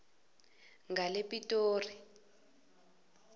langepitori